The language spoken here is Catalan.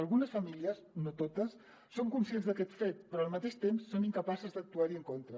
algunes famílies no totes són conscients d’aquest fet però al mateix temps són incapaces d’actuar·hi en contra